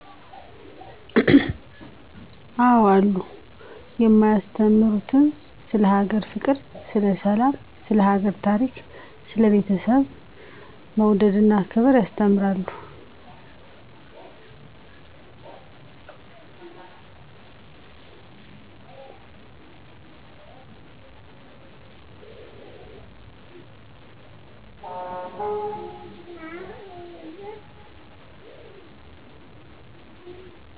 አዎ አሉ የማያስተምሩትም ስለ ሀገር ፍቅር ስለ ሰላም ስለ ሀገር ታሪክ ስለ ቤተሰብ መውደድ እና ክብር ያስተምራሉ